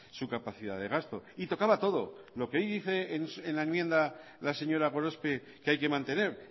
su capacidad de gasto y tocaba todo lo que hoy dice en la enmienda la señora gorospe que hay que mantener